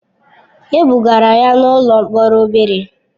E bugara ya n'ụlọ mkpọrọ obere.